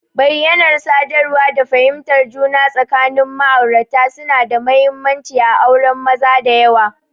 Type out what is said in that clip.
Bayyanar sadarwa da fahimtar juna tsakanin ma'aurata suna da mahimmanci a auren maza da yawa.